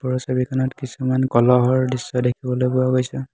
ওপৰৰ ছবিখনত কিছুমান কলহৰ দৃশ্য দেখিবলৈ পোৱা গৈছে।